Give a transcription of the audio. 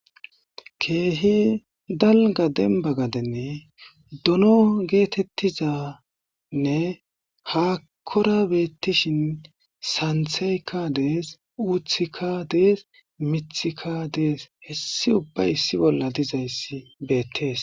Kehi daliga deniba gadeni dono getetiza hahora betishin sanithayika de'es uthika de'es mithika de'es hesi ubi issi bolla dizayis betes